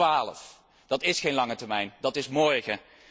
2012! Dat is geen lange termijn, dat is morgen.